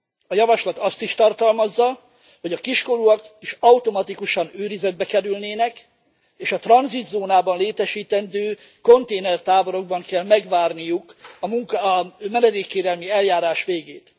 A javaslat azt is tartalmazza, hogy a kiskorúak is automatikusan őrizetbe kerülnének, és a tranzitzónában létesítendő konténertáborokban kell megvárniuk a menedékkérelmi eljárás végét.